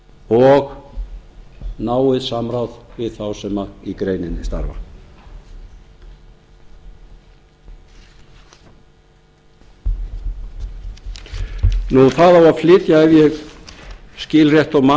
og náið samráð við þá sem í greininni starfa það á að flytja ef ég skil rétt og man